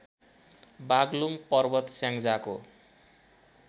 बाग्लुङ पर्वत स्याङ्जाको